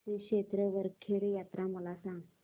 श्री क्षेत्र वरखेड यात्रा मला सांग